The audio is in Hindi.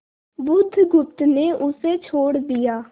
बुधगुप्त ने उसे छोड़ दिया